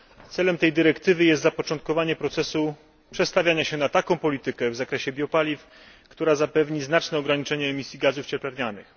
Celem tej dyrektywy jest zapoczątkowanie procesu przestawiania się na taką politykę w zakresie biopaliw, która zapewni znaczne ograniczenie emisji gazów cieplarnianych.